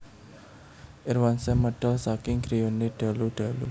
Irwansyah medal saking griyane dalu dalu